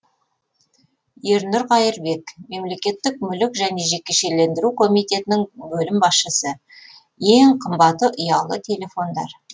ернұр қаирбек мемлекеттік мүлік және жекешелендіру комитетінің бөлім басшысы ең қымбаты ұялы телефондар